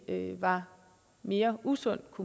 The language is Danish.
var mere usundt